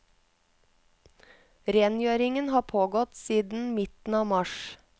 Rengjøringen har pågått siden midten av mars.